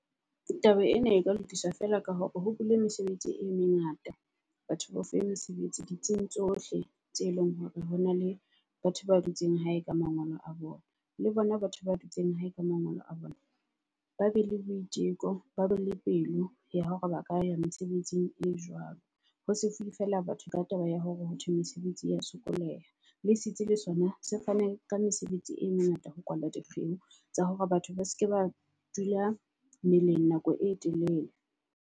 Taba ena e ka lokiswa feela ka hore ho bule mesebetsi e mengata. Batho bao fuwe mesebetsi ditsing tsohle tse eleng hore hona le batho ba dutseng hae ka mangolo a bona. Le bona batho ba dutseng hae ka mangolo a bona, ba be le boiteko ba be le pelo ya hore ba ka ya mesebetsing e jwalo. Hose fuwe fela batho ka taba ya hore ho thwe mesebetsi ya sokoleha le setsi le sona se fane ka mesebetsi e mengata ho kwalwa dikgeo. Tsa hore batho ba seke ba dula meleng nako e telele.